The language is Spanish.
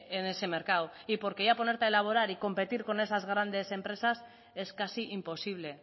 en ese mercado y porque ya ponerte a elaborar y competir con esas grandes empresas es casi imposible